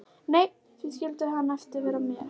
Nei, því skyldi hann vera með mér?